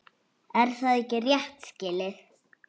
Er það ekki rétt skilið?